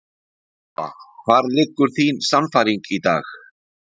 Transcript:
Lóa: Og hvar liggur þín sannfæring í dag?